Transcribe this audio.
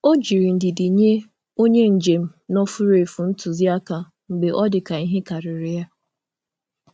Ọ jiri ndidi nye onye njem nọ furu efu ntụzịaka mgbe ọ ntụzịaka mgbe ọ dị ka ihe karịrị ya.